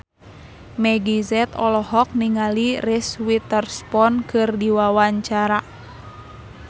Meggie Z olohok ningali Reese Witherspoon keur diwawancara